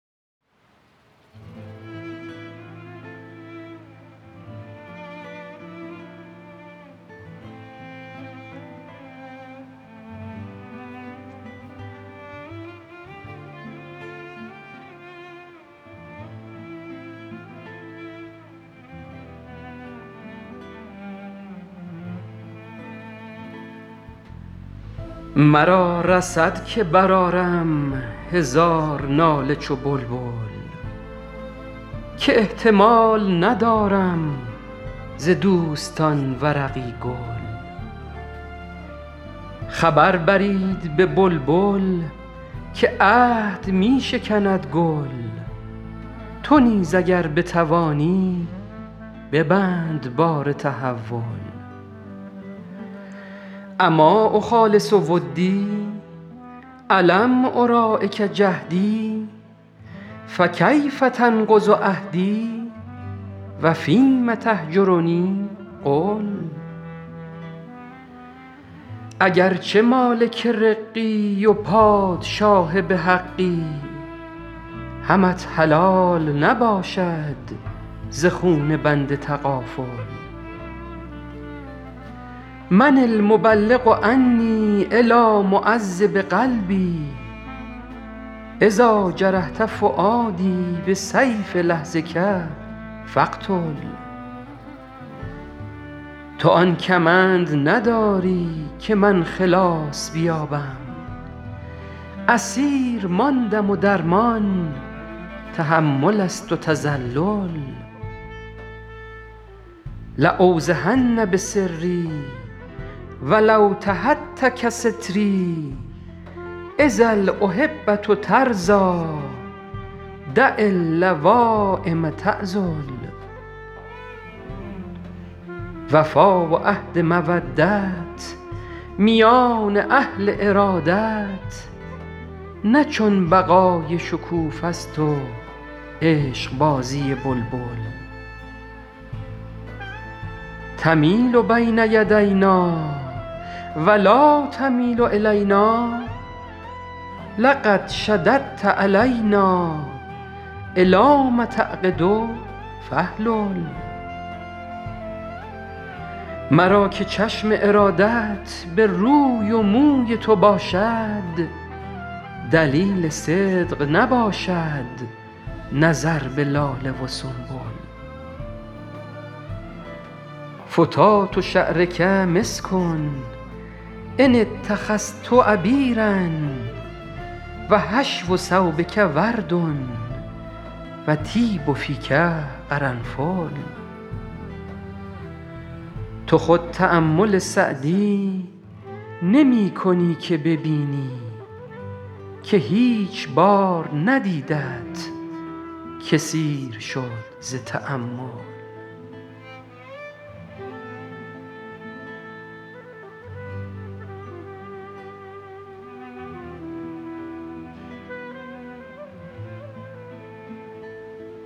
مرا رسد که برآرم هزار ناله چو بلبل که احتمال ندارم ز دوستان ورقی گل خبر برید به بلبل که عهد می شکند گل تو نیز اگر بتوانی ببند بار تحول أما أخالص ودی ألم أراعک جهدی فکیف تنقض عهدی و فیم تهجرنی قل اگر چه مالک رقی و پادشاه به حقی همت حلال نباشد ز خون بنده تغافل من المبلغ عنی إلیٰ معذب قلبی إذا جرحت فؤادی بسیف لحظک فاقتل تو آن کمند نداری که من خلاص بیابم اسیر ماندم و درمان تحمل است و تذلل لأوضحن بسری و لو تهتک ستری إذا الأحبة ترضیٰ دع اللوایم تعذل وفا و عهد مودت میان اهل ارادت نه چون بقای شکوفه ست و عشقبازی بلبل تمیل بین یدینا و لا تمیل إلینا لقد شددت علینا إلام تعقد فاحلل مرا که چشم ارادت به روی و موی تو باشد دلیل صدق نباشد نظر به لاله و سنبل فتات شعرک مسک إن اتخذت عبیرا و حشو ثوبک ورد و طیب فیک قرنفل تو خود تأمل سعدی نمی کنی که ببینی که هیچ بار ندیدت که سیر شد ز تأمل